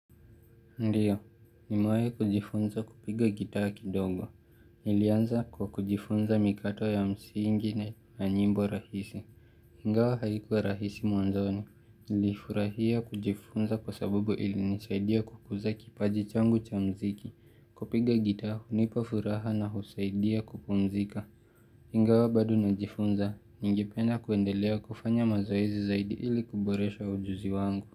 Ndiyo, nimahi kujifunza kupiga gitaa kidogo. Nilianza kwa kujifunza mikato ya msingi na nyimbo rahisi. Ingawa haikuwa rahisi mwanzoni. Nilifurahia kujifunza kwa sababu ili nisaidia kukuza kipaji changu cha mziki. Kupiga gitaa, hunipa furaha na husaidia kupumzika. Ingawa bado najifunza, ningependa kuendelea kufanya mazoezi zaidi ili kuboresha ujuzi wangu.